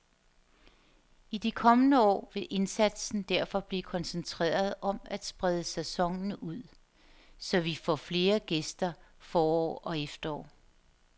I de kommende år vil indsatsen derfor blive koncentreret om at sprede sæsonen ud, så vi får flere gæster forår og efterår.